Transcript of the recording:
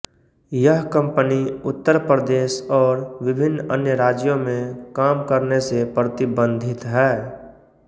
यह कम्पनी उत्तर प्रदेश और विभिन्न अन्य राज्यों में काम करने से प्रतिबन्धित है